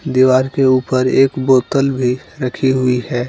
दीवार के ऊपर एक बोतल भी रखी हुई है।